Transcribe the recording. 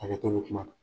Hakɛto bɛ kuma na